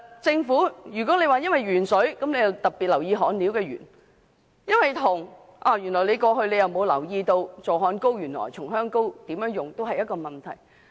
政府因為鉛水事件而特別留意焊料含鉛，但過去沒有留意如何使用助焊膏、松香膏也是一個問題。